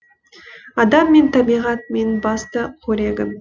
адам мен табиғат менің басты қорегім